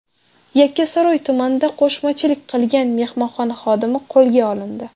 Yakkasaroy tumanida qo‘shmachilik qilgan mehmonxona xodimi qo‘lga olindi.